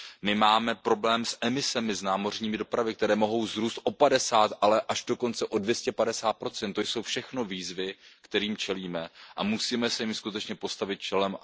My máme problém s emisemi z námořní dopravy, které mohou vzrůst o 50 ale až dokonce o 250 to jsou všechno výzvy, kterým čelíme a musíme se jim skutečně postavit čelem.